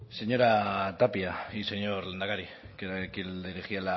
señora tapia y señor lehendakari que era a quien dirigía